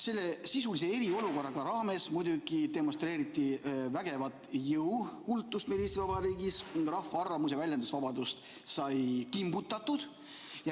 Selle sisulise eriolukorra raames te muidugi demonstreerisite meil Eesti Vabariigis vägevat jõukultust, rahva arvamus- ja väljendusvabadust sai kimbutatud.